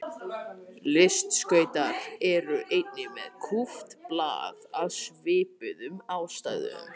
Listskautar eru einnig með kúpt blað af svipuðum ástæðum.